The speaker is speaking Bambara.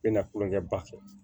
Bɛ na kulonkɛ ba kɛ